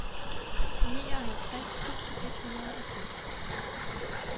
nioghalvtreds tusind et hundrede og seks